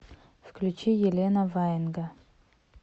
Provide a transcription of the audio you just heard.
включи елена ваенга